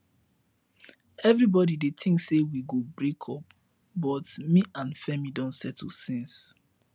everybody dey think say we go break up but me and femi don settle since